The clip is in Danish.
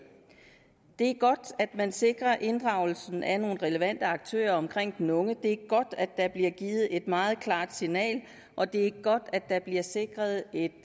det er godt at man sikrer inddragelsen af nogle relevante aktører omkring den unge det er godt at der bliver givet et meget klart signal og det er godt at der bliver sikret et